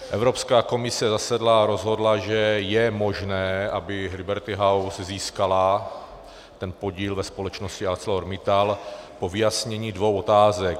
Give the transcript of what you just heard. Evropská komise zasedla a rozhodla, že je možné, aby Liberty House získala ten podíl ve společnosti ArcelorMittal po vyjasnění dvou otázek.